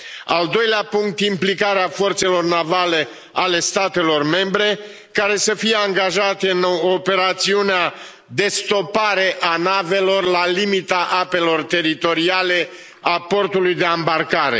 Al doilea punct, implicarea forțelor navale ale statelor membre care să fie angajate în operațiunea de stopare a navelor la limita apelor teritoriale a portului de a îmbarcare.